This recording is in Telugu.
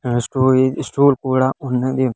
ఆ స్టూల్ కూడా ఉన్నది.